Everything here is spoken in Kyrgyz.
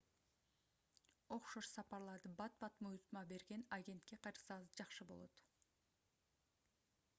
окшош сапарларды бат-бат буйрутма берген агентке кайрылсаңыз жакшы болот